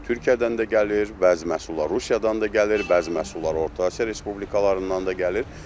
Türkiyədən də gəlir bəzi məhsullar, Rusiyadan da gəlir bəzi məhsullar, Orta Asiya respublikalarından da gəlir.